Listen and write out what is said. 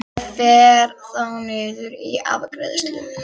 Ég fer þá niður í afgreiðslu.